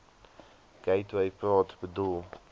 gateway praat bedoel